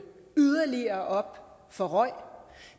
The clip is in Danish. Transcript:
yderligere op for røg